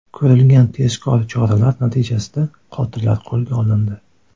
Ko‘rilgan tezkor choralar natijasida qotillar qo‘lga olindi.